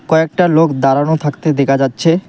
কয়েকটা লোক দাঁড়ানো থাকতে দেখা যাচ্ছে।